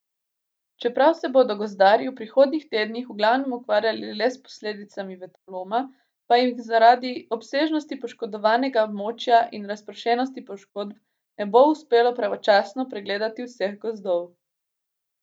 Čeprav se bodo gozdarji v prihodnjih tednih v glavnem ukvarjali le s posledicami vetroloma, pa jim zaradi obsežnosti poškodovanega območja in razpršenosti poškodb ne bo uspelo pravočasno pregledati vseh gozdov.